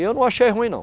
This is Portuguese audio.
E eu não achei ruim, não.